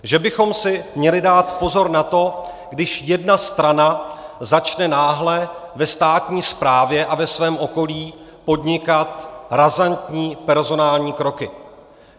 Že bychom si měli dát pozor na to, když jedna strana začne náhle ve státní správě a ve svém okolí podnikat razantní personální kroky.